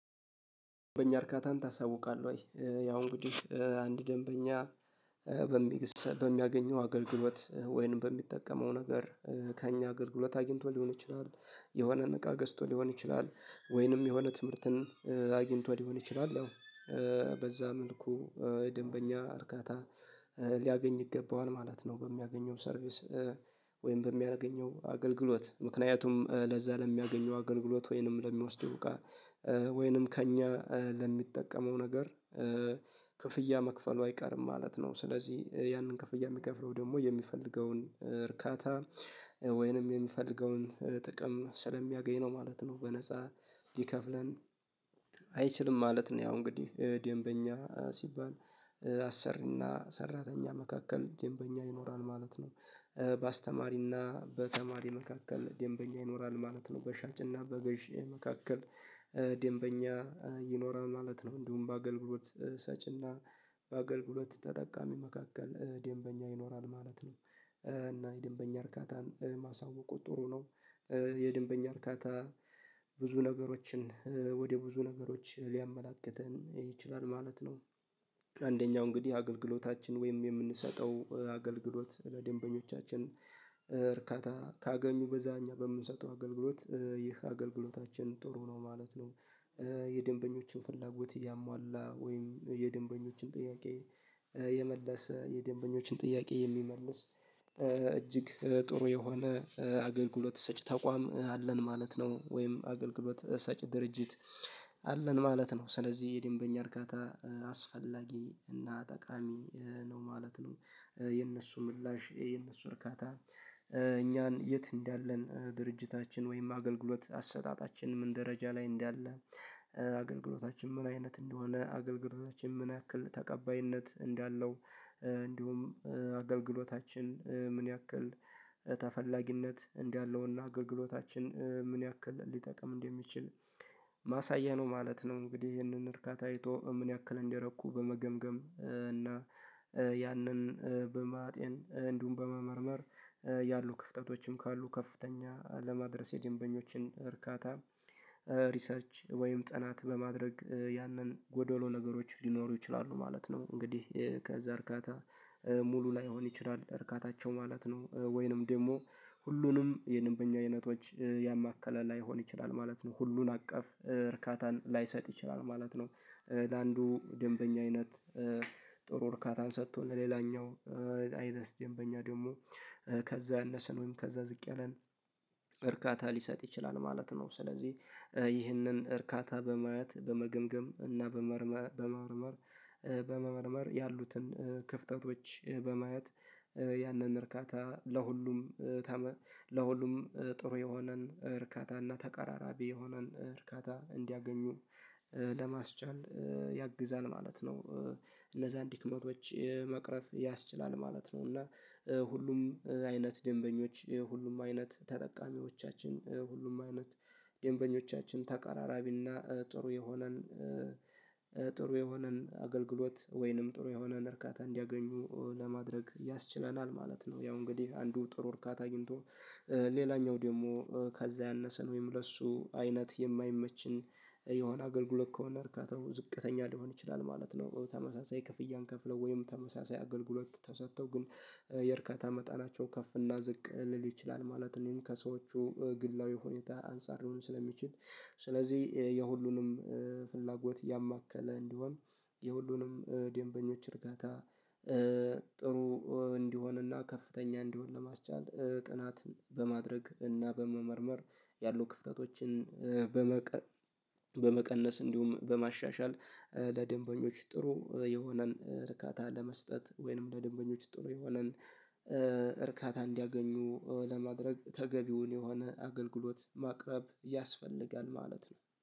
በእኛ እርካታን ታሳውቃለህ ወይ ያው እንግዲህ አንድ ደንበኛ በሚንሰጥ በሚያገኘው አገልግሎት ወይንም በሚጠቀመው ነገር ከእኛ አገልግሎት አግኝቶ ሊሆን ይችላል። የሆነ እቃ ገዝቶ ሊሆን ይችላል። ወይንም የሆነ ትምህርትን አግኝቶ ሊሆን ይችላል። ያው በዛ መልኩ ደንበኛ እርካታ ሊያገኝ ይገባዋል ማለት ነው። በሚያገኘው ሰርቪስ ወይም በሚያገኘው አገልግሎት ምክንያቱም ለዛ ለሚያገኘው አገልግሎት ወይንም ለሚወስደው እቃ ወይንም ከእኛ ለሚጠቀመው ነገር ክፍያ መክፈሉ አይቀርም ማለት ነው። ስለዚህ ያንን ክፍያ የሚከፍለው ደግሞ የሚፈልገውን እርካታ ወይንም የሚፈልገውን ጥቅም ስለሚያገኝ ነው ማለት ነው። በነፃ ሊከፍለን አይችልም ማለት ነው። ያው እንግዲህ ደንበኛ ሲባል አሰሪና ሰራተኛ መካከል ደንበኛ ይኖራል ማለት ነው። በአስተማሪና በተማሪ መካከል ደንበኛ ይኖራል ማለት ነው። በሻጭና በገዢ መካከል ደንበኛ ይኖራል ማለት ነው። እንዲሁም በአገልግሎት ሰጪና በአገልግሎት ተጠቃሚ መካከል ደንበኛ ይኖራል ማለት ነው። እና የደንበኛ እርካታን ማሳወቁ ጥሩ ነው። የደንበኛ እርካታ ብዙ ነገሮችን ወደ ብዙ ነገሮች ሊያመላክተን ይችላል ማለት ነው። አንደኛው እንግዲህ አገልግሎታችን ወይም የምንሰጠው አገልግሎት ለደንበኞቻችን እርካታ ካገኙ በዛ እኛ በምንሰጠው አገልግሎት ይህ አገልግሎታችን ጥሩ ነው ማለት ነው። የደንበኞችን ፍላጎት እያሟላ ወይም የደንበኞችን ጥያቄ የመለሰ የደንበኞችን ጥያቄ የሚመልስ እጅግ ጥሩ የሆነ አገልግሎት ሰጪ ተቋም አለን ማለት ነው። ወይም ሳጭ ድርጅት አለን ማለት ነው። ስለዚህ የደንበኛ እርካታ አስፈላጊ እና ጠቃሚ ነው ማለት ነው። የእነሱ ምላሽ የእነሱ እርካታ እኛን የት እንዳለን ድርጅታችን ወይም አገልግሎት አሰጣጣችን ምን ደረጃ ላይ እንዳለ አገልግሎታችን ምን አይነት እንደሆነ፤ አገልግሎታችን ምን ያክል ተቀባይነት እንዳለው፤ እንዲሁም አገልግሎታችን ምን ያክል ተፈላጊነት እንደለውና አገልግሎታችን ምን ያክል ሊጠቅም እንደሚችል ማሳያ ነው ማለት ነው። እንግዲህ ይሄንን እርካታ አይቶ ምን ያክል እንደረኩ በመገምገም እና ያንን በማጤን እንዲሁም በመመርመር፤ ያሉ ክፍተቶችም ካሉ ከፍተኛ ለማድረስ የደንበኞችን እርካታ ሪሰርች ወይም ጥናት በማድረግ ያንን ጎዶሎ ነገሮች ሊኖሩ ይችላሉ ማለት ነው። እንግዲህ ከዛ እርካታ ሙሉ ላይሆን ይችላል። እርካታቸው ማለት ነው ወይንም ደግሞ ሁሉንም የደንበኛ አይነቶች ያማከለ ላይሆን ይችላል ማለት ነው። ሁሉን አቀፍ እርካታን ላይሰጥ ይችላል ማለት ነው። ለአንዱ ደንበኛ አይነት ጥሩ እርካታን ሰጥቶ ለሌላኛው አይመስልም። በእኛ ደግሞ ከዛ አነሰን ወይም ከዛ ዝቅ ያለን እርካታ ሊሰጥ ይችላል ማለት ነው። ስለዚህ ይህንን እርካታ በማየት በመገምገም እና በመመርመር ያሉትን ክፍተቶች በማየት ያንን እርካታ ለሁሉም ለሁሉም ጥሩ የሆነን እርካታና ተቀራራቢ የሆነን እርካታን እንዲያገኙ ለማስቻል ያግዛል ማለት ነው። እነዛን ዲክመቶች መቅረፍ ያስችላል ማለት ነው። እና ሁሉም አይነት ደንበኞ፣ ሁሉም አይነት ተጠቃሚዎቻችን፣ ሁሉም አይነት ደንበኞቻችን ተቀራራቢና ጥሩ የሆነን ጥሩ የሆነን አገልግሎት ወይንም ጥሩ የሆነን እርካታ እንዲያገኙ ለማድረግ ያስችለናል ማለት ነው። ያው እንግዲህ አንዱ ጥሩ እርካታ አግኝቶ ሌላኛው ደግሞ ከዛ ያነሰን ወይም ለእሱ አይነት የማይመችን የሆነ አገልግሎት ከሆነ እርካታው ዝቅተኛ ሊሆን ይችላል ማለት ነው። በተመሳሳይ ክፍያን ከፍለው አገልግሎት ተሰጥተው ግን የእርካታ መጣናቸው ከፍ እና ዝቅ ሊል ይችላል ማለት እኔም ከሰዎቹ ግላዊ ሁኔታ አንፃር ስለሚችል ስለዚህ የሁሉንም ፍላጎት ያማከለ እንዲሆን የሁሉንም ደንበኞች እርካታ ጥሩ እንዲሆንና ከፍተኛ እንዲሆን ለማስቻል ጥናት በማድረግ እና በመመርመር ያሉ ክፍተቶችን በመቀነስ በመቀነስ እንዲሁም በማሻሻል ለደንበኞች ጥሩ የሆነን ርካታ ለመስጠት ወይንም ለደንበኞች ጥሩ የሆነን እርካታ እንዲያገኙ ለማድረግ ተገቢውን የሆነ አገልግሎት ማቅረብ ያስፈልጋል ማለት ነው።